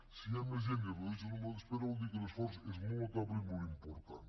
si hi ha més gent i es redueix el nombre d’espera vol dir que l’esforç és molt notable i molt important